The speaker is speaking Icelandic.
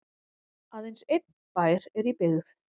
aðeins einn bær er í byggð